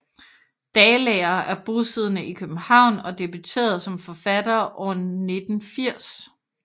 Dalager er bosiddende i København og debuterede som forfatter år 1980